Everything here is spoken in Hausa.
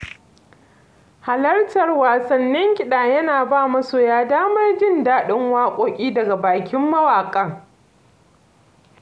Halartar wasannin kiɗa yana ba masoya damar jin daɗin waƙoƙi daga bakin mawaƙan.